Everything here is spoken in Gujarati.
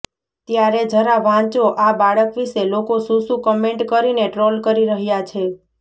ત્યારે જરા વાંચો આ બાળક વિષે લોકો શું શું કમેન્ટ કરીને ટ્રોલ કરી રહ્યા છે